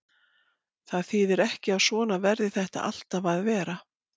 Það þýðir ekki að svona verði þetta alltaf að vera.